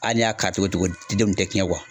A n'i y'a ka togo togo den denw te ciɲɛ kuwa